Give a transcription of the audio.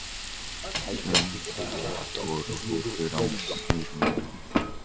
Svenni segir ekki orð og horfir áfram út um gluggann.